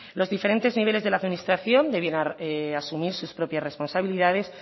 los diferentes niveles de la administración debieran asumir sus propias responsabilidades